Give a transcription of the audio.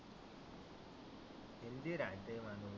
healthy राहतं माणुस